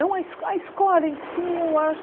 Não a esco em si, eu acho...